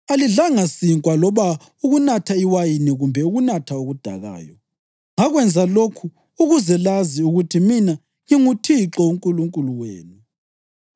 Alidlanga sinkwa loba ukunatha iwayini kumbe ukunatha okudakayo. Ngakwenza lokhu ukuze lazi ukuthi mina nginguThixo uNkulunkulu wenu.